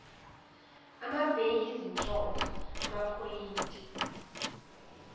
amabheyi izinhlonhlo amaphoyinti